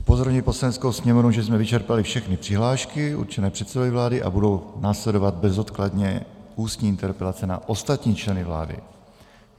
Upozorňuji Poslaneckou sněmovnu, že jsme vyčerpali všechny přihlášky určené předsedovi vlády a budou následovat bezodkladně ústní interpelace na ostatní členy vlády.